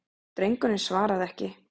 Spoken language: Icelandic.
Drengurinn svaraði ekki.